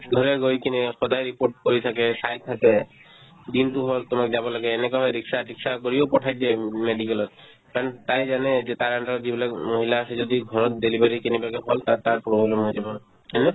ঘৰে গৈ কিনে সদায় report কৰি থাকে চাই থাকে দিনতো হ'ল তোমাৰ যাব লাগে এনেকুৱা হয় ৰিক্সা-তিক্সা কৰিও পঠাই দিয়ে উম medical ত কাৰণ তাই জানে যে তাইৰ under ত যিবিলাক মহিলা আছে যদি ঘৰত delivery কেনেবাকে হ'ল তাত তাৰ জনাই দিব হয়নে